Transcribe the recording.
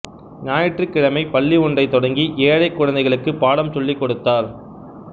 ஞாயிற்றுக்கிழமை பள்ளி ஒன்றை தொடங்கி ஏழைக் குழந்தைகளுக்கு பாடம் சொல்லிக் கொடுத்தார்